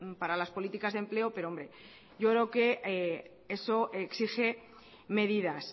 para las políticas de empleo pero hombre yo creo que eso exige medidas